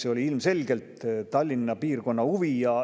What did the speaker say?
See oli ilmselgelt Tallinna piirkonna huvi.